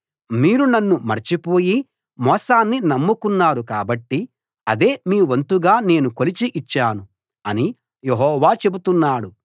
మీరు నన్ను మరచిపోయి మోసాన్ని నమ్ముకున్నారు కాబట్టి అదే మీ వంతుగా నేను కొలిచి ఇచ్చాను అని యెహోవా చెబుతున్నాడు